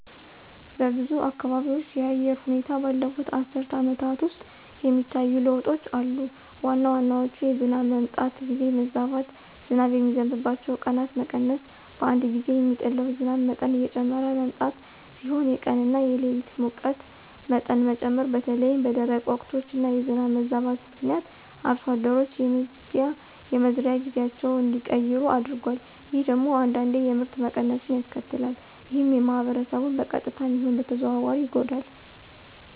በብዙ አካባቢዎች የአየር ሁኔታ ባለፉት አስርት ዓመታት ውስጥ የሚታዩ ለውጦች አሉ። ዋና ዋናዎቹ የዝናብ መምጣት ጊዜ መዛባት፣ ዝናብ የሚዘንብባቸው ቀናት መቀነስ፣ በአንድ ጊዜ የሚጥለው ዝናብ መጠን እየጨመረ መምጣት ሲሆኑ የቀን እና የሌሊት ሙቀት መጠን መጨመር በተለይም በደረቅ ወቅቶች እና የዝናብ መዛባት ምክንያት አርሶ አደሮች የመዝሪያ ጊዜያቸውን እንዲቀይሩ አድርጓል። ይህ ደግሞ አንዳንዴ የምርት መቀነስን ያስከትላል። ይህም ማህበረሰቡን በቀጥታም ይሁን በተዘዋዋሪ ይጎዳል።